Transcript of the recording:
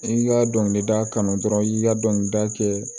I ka dɔnkilida kanu dɔrɔn i y'i ka dɔnkilida kɛ